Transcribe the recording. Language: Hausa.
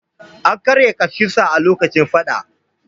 An karya ƙashinsa a lokacin fadan.